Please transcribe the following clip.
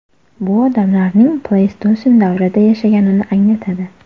Bu odamlarning pleystosen davrida yashaganini anglatadi.